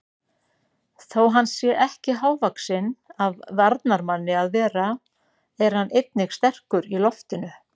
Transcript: Þó hann sé ekki hávaxinn af varnarmanni að vera er hann einnig sterkur í loftinu.